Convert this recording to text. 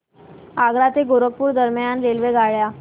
आग्रा ते गोरखपुर दरम्यान रेल्वेगाड्या